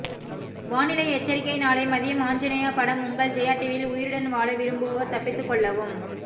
வானிலை எச்சரிக்கை நாளை மதியம் ஆஞ்சநேயா படம் உங்கள் ஜெயா டிவியில் உயிருடன் வாழ விரும்புவோர் தப்பிதுகொள்ளவும்